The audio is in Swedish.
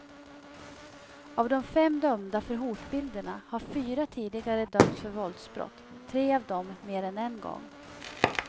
Av de fem dömda för hotbilderna har fyra tidigare dömts för våldsbrott, tre av dem mer än en gång.